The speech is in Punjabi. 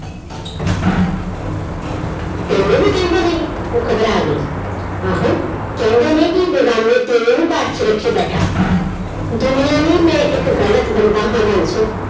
ਤੈਨੂੰ ਵੀ ਕਹਿੰਦੇ ਨੇ ਉਹ ਘਬਰਾ ਗਈ ਆਹੋ ਕਹਿੰਦੇ ਨੀ ਵੀ ਬੇਗਾਨੇ ਘਰ 'ਚ ਰੱਖੀ ਬੈਠਾ ਦੁਨੀਆਂ ਲਈ ਮੈਂ ਇੱਕ ਗ਼ਲਤ ਬੰਦਾ ਹਾਂ ਬਾਂਸੋ,